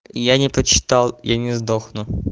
я не прочитал я не сдохну